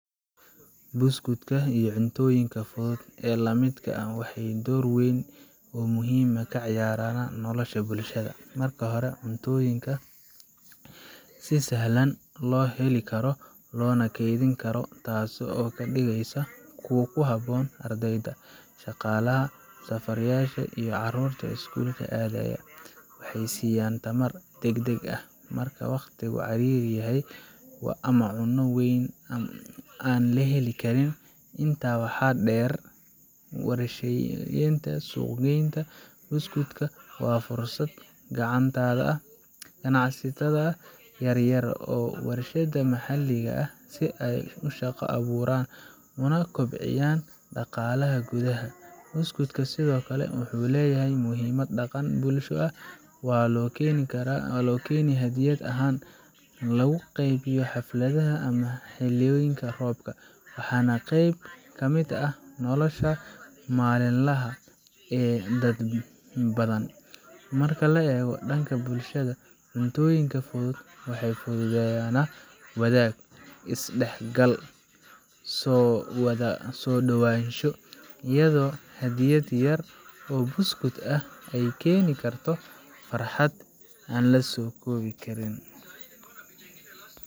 Buskudka iyo cuntooyinka fudud ee la midka ah waxay door weyn oo muhiim ah ka ciyaaraan nolosha bulshada. Marka hore, waa cuntooyin si sahlan loo heli karo loona kaydin karo, taasoo ka dhigaysa kuwo ku habboon ardayda, shaqaalaha, safarayaasha iyo carruurta iskuulka aadaya. Waxay siiyaan tamar degdeg ah marka waqtigu ciriiri yahay ama cunto weyn aan la heli karin. Intaa waxaa dheer, warshadeynta iyo suuq geynta buskudka waxay fursad u tahay ganacsatada yar yar iyo warshadaha maxalliga ah si ay shaqo u abuuraan una kobciyaan dhaqaalaha gudaha. Buskudka sidoo kale wuxuu leeyahay muhiimad dhaqan iyo bulsho waxaa loo keenaa hadiyad ahaan, lagu qeybiyo xafladaha ama xilliyada roobka, waana qayb ka mid ah nolosha maalinlaha ah ee dad badan. Marka la eego dhanka bulshada, cuntooyinka fudud waxay fududeeyaan wadaag, is dhexgal iyo isu soo dhowaansho iyadoo hadiyad yar oo buskud ah ay keeni karto farxad weyn.